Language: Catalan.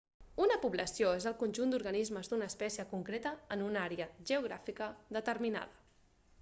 una població és el conjunt d'organismes d'una espècie concreta en una àrea geogràfica determinada